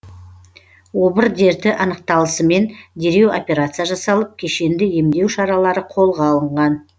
обыр дерті анықталысымен дереу операция жасалып кешенді емдеу шаралары қолға алынған